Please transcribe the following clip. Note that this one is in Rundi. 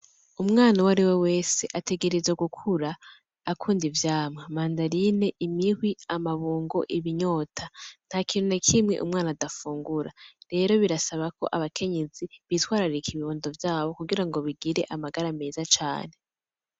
Umwana uwo ari we wese ategerezwa gukura akunda ivyamwa: mandarine, imihwi, amabungo, ibinyota; nta kintu na kimwe umwana adafungura. Rero birasaba ko abakenyezi bitwararika ibibondo vyabo kugira ngo bigire amagara meza cane.